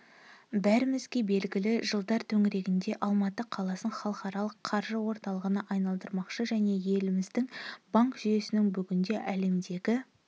бәрімізге белгілі жылдар төңірегінде алматы қаласын халықаралық қаржы орталығына айналдырмақшы және еліміздің банк жүйесінің бүгінде әлемдегі